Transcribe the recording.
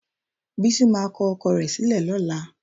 Bísí máa kọ ọkọ rẹ̀ sílẹ̀ lọ́la.